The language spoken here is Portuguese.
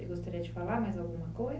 Você gostaria de falar mais alguma